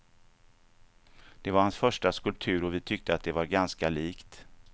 Det var hans första skulptur och vi tyckte att det var ganska likt.